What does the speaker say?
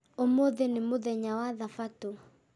ũmũthĩ nĩ mũthenya wa thabatũ